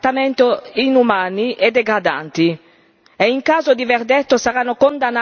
dei peggiori crimini, sottoposti a trattamenti inumani e degradanti.